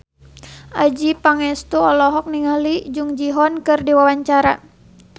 Adjie Pangestu olohok ningali Jung Ji Hoon keur diwawancara